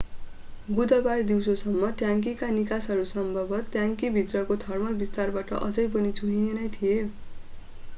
बुधबार दिउँसोसम्म, ट्याङ्कीका निकासहरू सम्भवत ट्याङ्की भित्रको थर्मल विस्तारबाट अझै पनि चुहिने नै थिए।